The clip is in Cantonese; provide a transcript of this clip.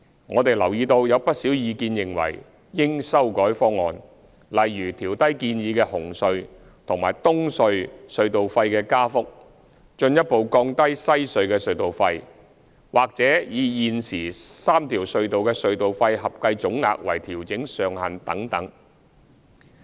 我們留意到有不少意見認為應修改方案，例如調低建議的紅隧和東隧隧道費的加幅、進一步降低西隧的隧道費，或以現時3條隧道的隧道費合計總額為調整上限等。